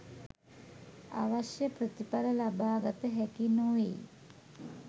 අවශ්‍ය ප්‍රතිඵල ලබාගත හැකි නොවෙයි.